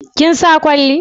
Kin sa kwalli